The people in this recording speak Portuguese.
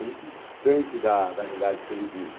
É muito distante da da realidade que ele vive.